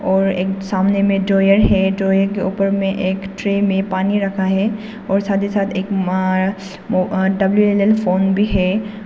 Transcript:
और एक सामने में ड्रायर है ड्रायर के ऊपर में एक ट्रे में पानी रखा है और साथ ही साथ एक डब्ल्यू_एल_एल फोन भी है।